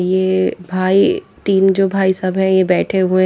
ये भाई तीन जो भाई सब है ये बैठे हुए ।